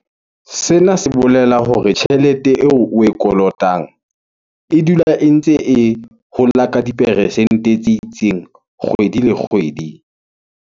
Sena se bolela hore tjhelete eo oe kolotang e dula e ntse e hola ka diperesente tse itseng kgwedi le kgwedi.